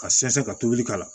Ka sɛnsɛn ka tobili k'a la